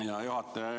Hea juhataja!